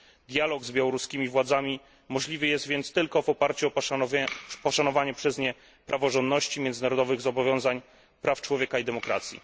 Dialog z białoruskimi władzami możliwy jest więc tylko w oparciu o poszanowanie przez nie praworządności, międzynarodowych zobowiązań, praw człowieka i demokracji.